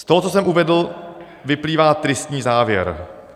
Z toho, co jsem uvedl, vyplývá tristní závěr.